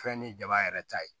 Fɛn ni jaba yɛrɛ ta ye